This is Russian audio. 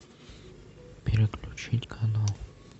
переключить канал